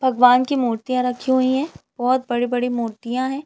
भगवान की मूर्तियाँ रखी हुई है बोहत बड़ी-बड़ी मूर्तियाँ हैं ।